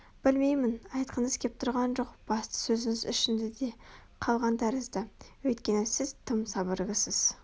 білмеймін айтқыңыз кеп тұрған басты сөзіңіз ішіңізде қалған тәрізді Өйткені сіз тым сабырлысыз